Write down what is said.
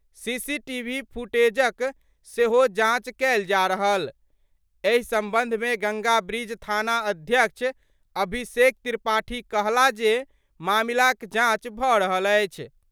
CCTV फुटेजक सेहो जांच कएल जा रहल : एहि संबंध मे गंगाब्रिज थाना अध्यक्ष अभिषेक त्रिपाठी कहला जे मामला क जांच भ' रहल अछि।